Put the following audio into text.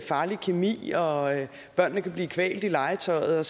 farlig kemi og børnene kan blive kvalt i legetøjet